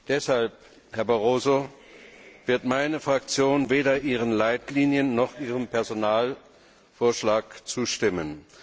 Deshalb, Herr Barroso, wird meine Fraktion weder Ihren Leitlinien noch Ihrem Personalvorschlag zustimmen.